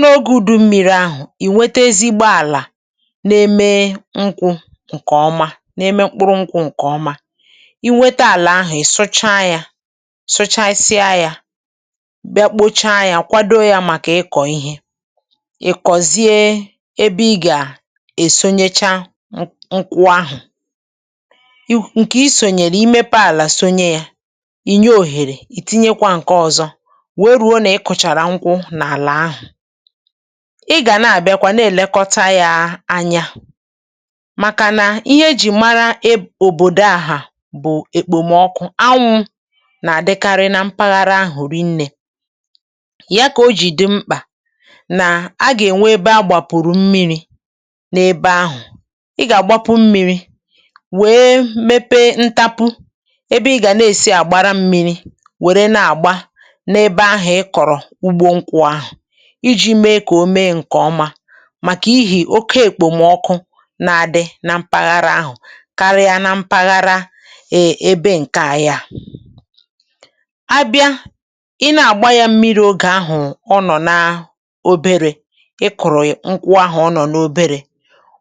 Mgbe ụ̀dụ̀ mmiri ruru oke ya, ị gà-enweta àlà ọma nke na-eme ka nkwụ dị mma gboo, ma mepụta mkpụrụ nkwụ ọma. Mgbe ị nwetara àlà ahụ̀, ị gà-èpùwa ya, ị gà-kpochapụ̀ ya nke ọma, ma kwàdò ya nke ọma maka ịkụ̀ ihe. Mgbe ahụ ị gà-akụ nkwụ ahụ̀, na-enye ya òhèrè zuru oke, òhèrè zuru oke, ka ndị ọzọ nwekwa ohere. Mgbe ị mechàrà kụ̀o nkwụ n’ala ahụ̀, ị gà na-elekọta ya mgbe niile. um N’ihi ọnọdụ̀ ọkụ̀ nke dị na mpaghara ahụ̀, ọ dị mkpa ka e nwekwara ụzọ mmịrị̀ na-agba. Ị gà-enye ebe mmiri, ị gà-eme ụzọ ntapu mmiri, ma na-enye mmiri mgbe niile n’ugbo nkwụ ka o wee mee nke ọma. N’ihi na okpomọkụ nke mpaghara ahụ̀ ka ukwuu karịa nke ụfọdụ ebe ndị ọzọ, ị gà na-enye nkwụ mmiri mgbe niile mgbe ha ka dị obere, mgbe ha ka dị nrọ. Nke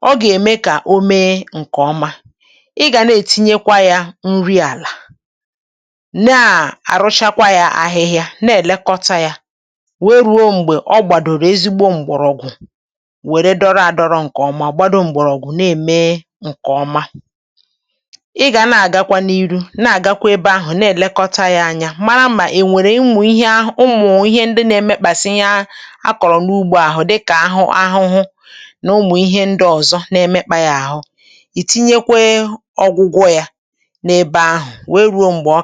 ahụ̀ bụ ihe gà-eme ka o too nke ọma. Ị gà na-agbakwụnye nri àlà na ihe mgbà nri ka àlà gboo, ị gà na-èpùwa ahịhịa gbara nkwụ gburugburu, ma na-elekọta ya ruo mgbe ọ gbàdòrò mgbọrọgwụ dị ike. Mgbe mgbọrọgwụ ahụ gbàdòrò nke ọma, mgbe mgbọrọgwụ ahụ gbàdòrò nke ọma, nkwụ ahụ gà-eto nke ọma. Ị gà na-elekọta ya mgbe niile, na-abịakarị ugbo ahụ̀ oge ọ bụla, oge ọ bụla. N’ihi na e nwere ụmụ̀ ihe ndị na-emekpàsị ya. Ụfọdụ n’ime ha sitere n’ugbo ọzọ bịa, ebe ụfọdụ na-emekpàsị ya kpọmkwem. N’oge dị otú ahụ, ị gà-etinye ọgwụgwọ, ị gà-etinye ọgwụ̀ mgbochi ka ọ wee chekwaa ya.